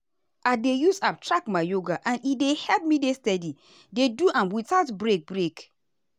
i dey use app track my yoga and e help me dey steady dey do am without break. break.